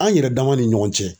An yɛrɛ dama ni ɲɔgɔn cɛ